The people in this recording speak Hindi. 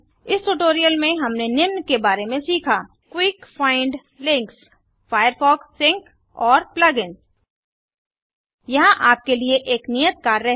इस ट्यूटोरियल में हमने निम्न के बारे में सीखा Quick find link Firefox sync और plug इन्स यहाँ आपके लिए एक नियत कार्य है